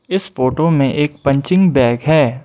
इस फोटो में एक पंचिंग बैग है।